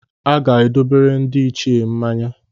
A ga-edobere ndị Ichie mmanya.